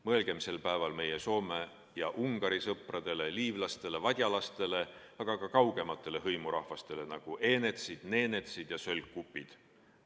Mõelgem sel päeval meie Soome ja Ungari sõpradele, liivlastele, vadjalastele, aga ka kaugematele hõimurahvastele, nagu eenetsid, neenetsid ja sölkupid.